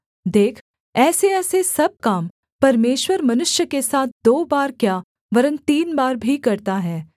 देख ऐसेऐसे सब काम परमेश्वर मनुष्य के साथ दो बार क्या वरन् तीन बार भी करता है